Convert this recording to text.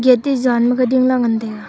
gate te zaan makhe dingla ngantaiga.